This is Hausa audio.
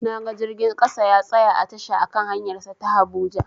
Naga jirgin ƙasa ya tsaya a tasha a kan hanyar sa ta habuja